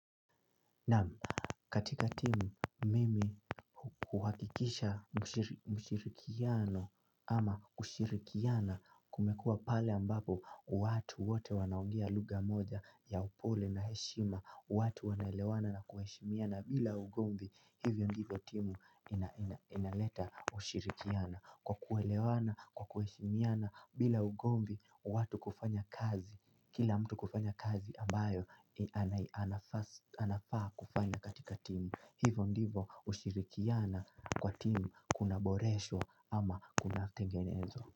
Naam, katika timu mimi kuhakikisha mushirikiano ama kushirikiana kumekua pale ambapo watu wote wanaongea lugha moja ya upole na heshima. Watu wanaelewana na kuheshimiana bila ugomvi hivyo ndivyo timu inaleta kushirikiana. Kwa kuelewana, kwa kuheshimiana, bila ugomvi watu kufanya kazi kila mtu kufanya kazi ambayo anafaa kufanya katika timu. Hivo ndivo ushirikiana kwa timu kunaboreshwa ama kunatengenezwa.